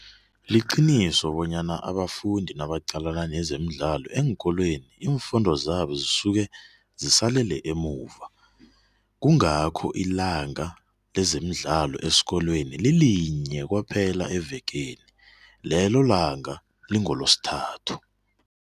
Liqiniso bonyana abafundi nabaqalana nezemidlalo eenkolweni, iimfundo zabo zisuke zisalele emuva, kungakho ilanga lezemidlalo esikolweni lilinye kwaphela evekeni. Lelo langa lingoloSithathu.